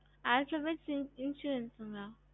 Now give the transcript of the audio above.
alphabedical easy இறுகுங்கால